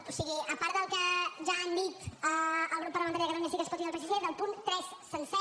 o sigui a part del que ja han dit el grup parlamentari de catalunya sí que es pot i del psc del punt tres sencer